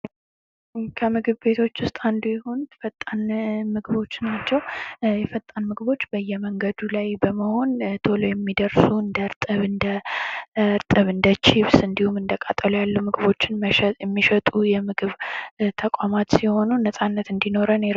ከምግብ ቤቶች ውስጥ አንዱ የሆነው ፈጣን ምግቦች ናቸው ፈጣን ምግቦች በየመንገዱ ላይ በመሆን ቶሎ የሚደርሱ እንደርጥብ እንደ ቺብስ እንዲሁም እንደ ቃጠሎ ያሉ ምግቦችን የሚሸጡ የምግብ ተቋማት ሲሆኑ ነጻነት እንዲኖረን ይረዱናል።